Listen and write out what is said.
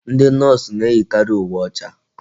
Ndị Nọọsụ na-eyikari uwe ọcha.